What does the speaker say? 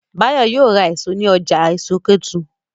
Báyọ̀ ma ra èso ní ọjà èso Kétu